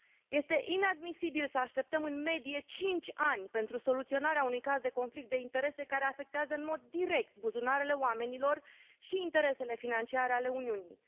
Este inadmisibil să așteptăm, în medie, cinci ani pentru soluționarea unui caz de conflict de interese care afectează în mod direct buzunarele oamenilor și interesele financiare ale Uniunii.